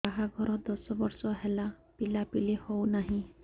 ବାହାଘର ଦଶ ବର୍ଷ ହେଲା ପିଲାପିଲି ହଉନାହି